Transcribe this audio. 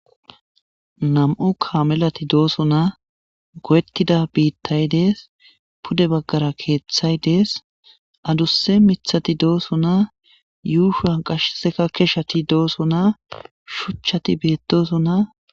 Nami'u kaamelati doosona. Goyetida gade dees. Pude baggara keeththay dees. Adussa miththati doosona. Yuushuwan qassekka keshati doosona. Shuchchati beettosona.